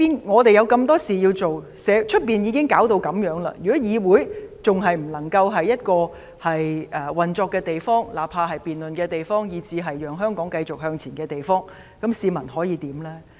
我們有這麼多事情要做，外面已弄成這樣，如果議會仍然是一個不能運作的地方，不論作為辯論的地方或讓香港繼續向前的地方，試問市民可以怎樣呢？